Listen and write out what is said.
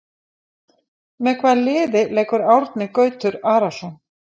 Með hvaða liði leikur Árni Gautur Arason?